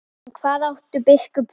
En hvað átti biskup við?